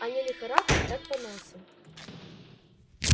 а не лихорадкой так поносом